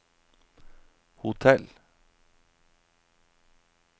hotell